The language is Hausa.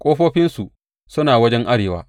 Ƙofofinsu suna wajen arewa.